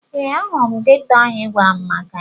Ee, ahụrụ m geto ahụ ị gwara m maka ya.